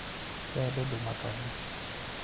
wendo ndũmakaga